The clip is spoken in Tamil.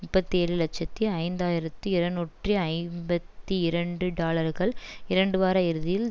முப்பத்தி ஏழு இலட்சத்தி ஐந்து ஆயிரத்தி இரநூற்றி ஐம்பத்தி இரண்டு டாலர்கள் இரண்டு வார இறுதியில்